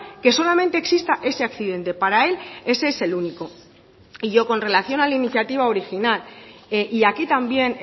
que solamente exista ese accidente para él ese es el único y yo con relación a la iniciativa original y aquí también